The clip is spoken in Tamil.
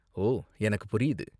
ஓ, எனக்கு புரியுது.